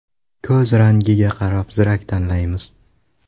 Ko‘z rangiga qarab zirak tanlaymiz.